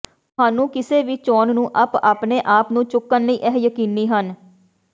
ਤੁਹਾਨੂੰ ਕਿਸੇ ਵੀ ਚੋਣ ਨੂੰ ਅਪ ਆਪਣੇ ਆਪ ਨੂੰ ਚੁੱਕਣ ਲਈ ਇਹ ਯਕੀਨੀ ਹਨ